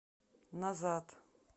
назад